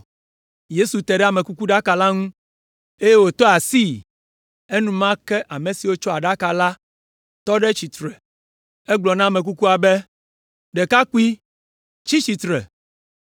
Yesu te ɖe amekukuɖaka la ŋu, eye wotɔ asii, enumake ame siwo tsɔ aɖaka la tɔ ɖe tsitre. Azɔ egblɔ na ame kukua be, “Ɖekakpui, tsi tsitre.”